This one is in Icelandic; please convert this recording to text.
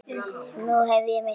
Nú hef ég misst einn.